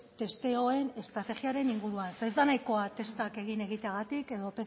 testeoen estrategiaren inguruan ze ez da nahikoa testak egin egiteagatik edo